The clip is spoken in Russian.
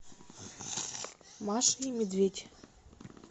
маша и медведь